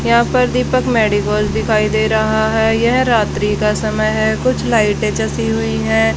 यहां पर दीपक मेडिको दिखाई दे रहा है यह रात्रि का समय है कुछ लाइटे जची हुई है।